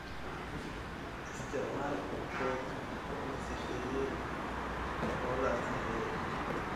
Isticmaal quudin la sifeeyay oo la ansixiyay.